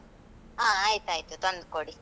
ಹ. ಆಯ್ತಾಯ್ತು. ತಂದ್ ಕೊಡಿ.